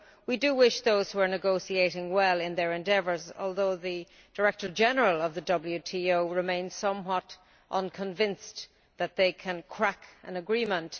We wish those who are negotiating well in their endeavours, although the Director General of the WTO remains somewhat unconvinced that they can crack an agreement.